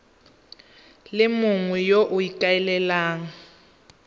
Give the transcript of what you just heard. le mongwe yo o ikaelelang